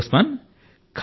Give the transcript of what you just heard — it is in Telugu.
సరే ఉస్మాన్